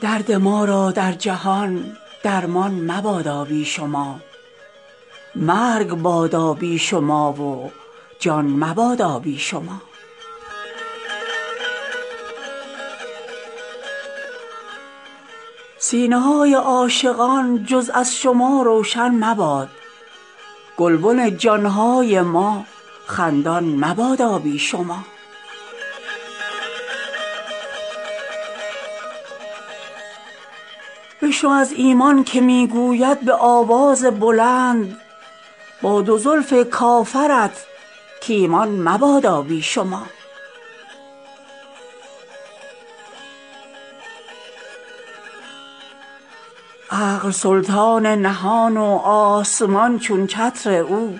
درد ما را در جهان درمان مبادا بی شما مرگ بادا بی شما و جان مبادا بی شما سینه های عاشقان جز از شما روشن مباد گلبن جان های ما خندان مبادا بی شما بشنو از ایمان که می گوید به آواز بلند با دو زلف کافرت کایمان مبادا بی شما عقل سلطان نهان و آسمان چون چتر او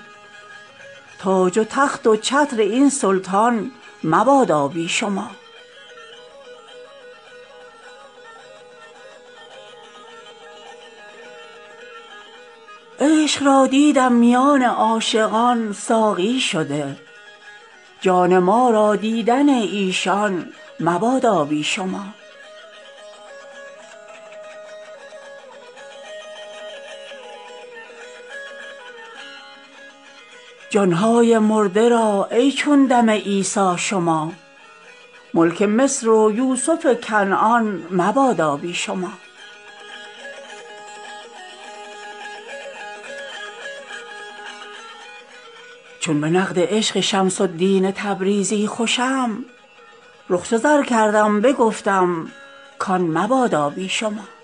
تاج و تخت و چتر این سلطان مبادا بی شما عشق را دیدم میان عاشقان ساقی شده جان ما را دیدن ایشان مبادا بی شما جان های مرده را ای چون دم عیسی شما ملک مصر و یوسف کنعان مبادا بی شما چون به نقد عشق شمس الدین تبریزی خوشم رخ چو زر کردم بگفتم کان مبادا بی شما